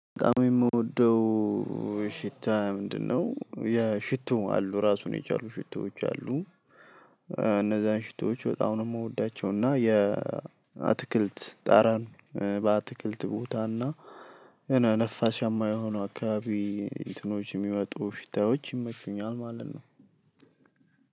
በጣም የምወደው ሽታ ምንድነው? ያ ሽቶ አሉ ራሱን የቻሉ ሽቶዎች አሉ። እነዛን ሽቶወች በጣም ነው የምወዳቸው እና የአትክልት ጠረን በአትክልት ቦታና ነፋሻማ የሆኑ አካባቢ እንትኖች የሚወጡ ሽታዎች ይመቹኛል ማለት ነው።